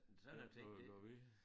Noget at gøre ved